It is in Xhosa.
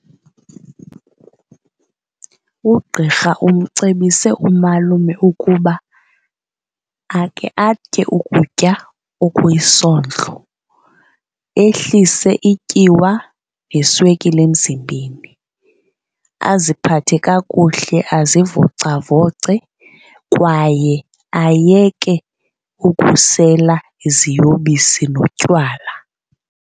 Ugqirha umcebise umalume ukuba akhe atye ukutya okuyisondlo, ehlise ityiwa neswekile emzimbeni, aziphathe kakuhle azivocavoce kwaye ayeke ukusela iziyobisi notywala.